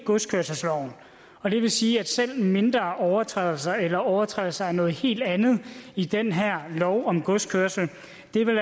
godskørselsloven og det vil sige at selv mindre overtrædelser eller overtrædelser af noget helt andet i den her lov om godskørsel